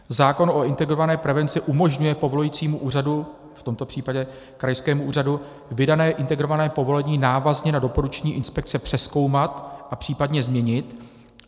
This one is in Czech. Zákon o integrované prevenci umožňuje povolujícímu úřadu, v tomto případě krajskému úřadu, vydané integrované povolení návazně na doporučení inspekce přezkoumat a případně změnit.